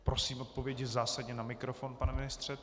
Prosím odpovědi zásadně na mikrofon, pane ministře.